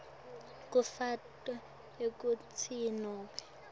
kufaka ekhatsi nobe